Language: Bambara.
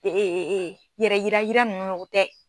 Ee yɛrɛ yira ka yira ninnu o tɛ.